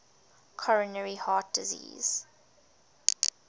coronary heart disease